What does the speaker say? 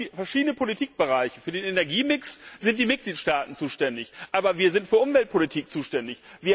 Wir haben verschiedene Politikbereiche Für den Energiemix sind die Mitgliedstaaten zuständig, aber wir sind für Umweltpolitik zuständig.